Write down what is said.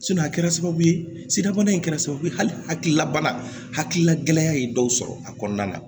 a kɛra sababu ye siraba in kɛra sababu ye hali hakililabana hakilila gɛlɛya ye dɔw sɔrɔ a kɔnɔna na